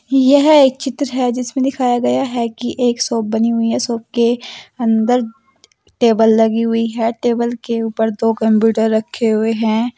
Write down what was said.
यह एक चित्र है जिसमें दिखाया गया है कि एक शॉप बनी हुई है शॉप के अंदर टेबल लगी हुई है टेबल के ऊपर दो कंप्यूटर रखे हुए हैं।